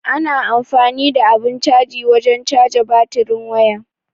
Ana amfani da abun caji wajen caja batirin waya.